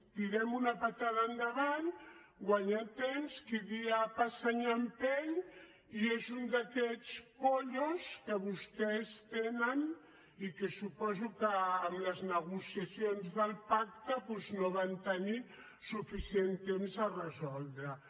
tirem una patada endavant guanyem temps qui dia passa any empeny i és un d’aquests pollos que vostès tenen i que suposo que amb les negociacions del pacte doncs no van tenir suficient temps per resoldre ho